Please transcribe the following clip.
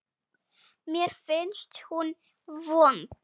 Mér finnst hún vond.